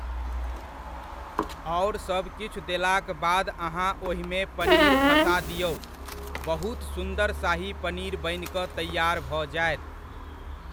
आओर सभ किछु देलाक बाद अहाँ ओहिमे पनीर खसा दिऔ, बहुत सुन्दर शाही पनीर बनि कऽ तैआर भऽ जायत।